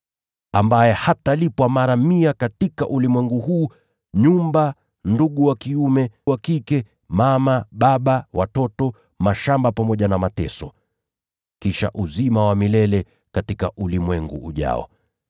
ambaye hatalipwa mara mia katika ulimwengu huu: nyumba, ndugu wa kiume na wa kike, mama na baba na watoto, mashamba pamoja na mateso, kisha uzima wa milele katika ulimwengu ujao.